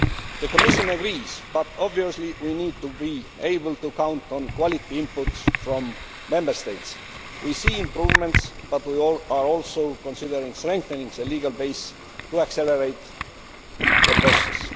The Commission agrees that we obviously need to be able to count on quality inputs from Member States. We see improvements, but we are also considering strengthening the legal base to accelerate the process.